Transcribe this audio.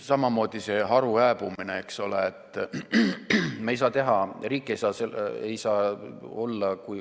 Samamoodi see haru hääbumine, eks ole.